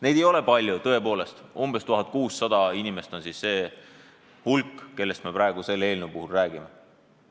Neid ei ole tõepoolest palju, umbes 1600 inimest on neid, kellest me selle eelnõu puhul räägime.